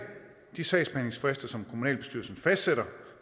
de sagsbehandlingsfrister som kommunalbestyrelsen fastsætter